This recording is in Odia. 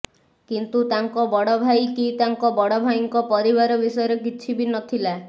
କିନ୍ତୁ ତାଙ୍କ ବଡ ଭାଇ କି ତାଙ୍କ ବଡ ଭାଇଙ୍କ ପରିବାର ବିଷୟରେ କିଛି ବି ନଥିଲା